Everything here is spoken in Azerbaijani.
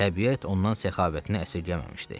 Təbiət ondan səxavətini əsirgəməmişdi.